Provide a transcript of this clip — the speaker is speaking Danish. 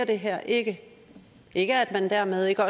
det her ikke ikke at man dermed ikke